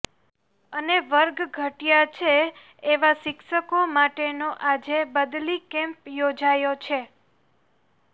અને વર્ગ ઘટયા છે એવા શિક્ષકો માટેનો આજે બદલી કેમ્પ યોજાયો છે